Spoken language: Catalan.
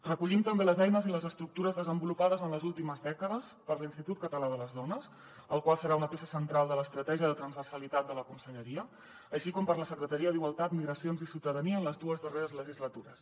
recollim també les eines i les estructures desenvolupades en les últimes dècades per l’institut català de les dones el qual serà una peça central de l’estratègia de transversalitat de la conselleria així com per a la secretaria d’igualtat migracions i ciutadania en les dues darreres legislatures